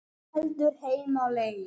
Þú heldur heim á leið.